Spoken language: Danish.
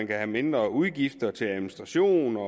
være mindre udgifter til administration og